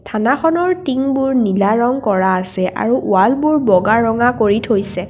থানাখনৰ টিংবোৰ নীলা ৰঙ কৰা আছে আৰু ৱালবোৰ বগা ৰঙা কৰি থৈছে।